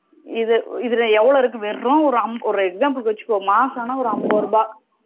இதுல எவ்ளோ இருக்கு வெறும் ஒரு example க்கு வச்சிக்கோ மாசம் ஆனா அம்பது ரூபா